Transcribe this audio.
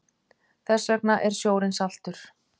Þess vegna er sjórinn saltur.